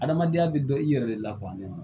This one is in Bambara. Adamadenya bɛ dɔn i yɛrɛ de la kuwa ne ma